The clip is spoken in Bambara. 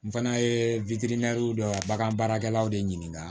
N fana ye dɔ bagan baarakɛlaw de ɲininka